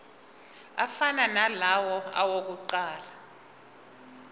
afana nalawo awokuqala